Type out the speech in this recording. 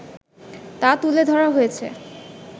তা তুলে ধরা হয়েছে